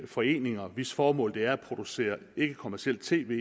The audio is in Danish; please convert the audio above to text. foreninger hvis formål det er at producere ikkekommercielt tv